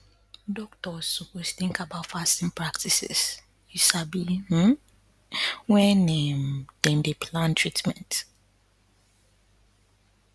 doctors suppose think about fasting practices you sabi um wen um dem dey plan treatment